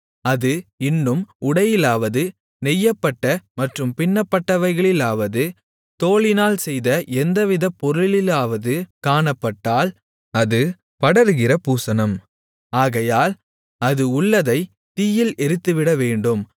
அது இன்னும் உடையிலாவது நெய்யப்பட்ட மற்றும் பின்னப்பட்டவைகளிலாவது தோலினால் செய்த எந்தவித பொருளிலாவது காணப்பட்டால் அது படருகிற பூசணம் ஆகையினால் அது உள்ளதை தீயில் எரித்துவிடவேண்டும்